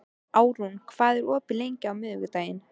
Arnrún, hvað er opið lengi á miðvikudaginn?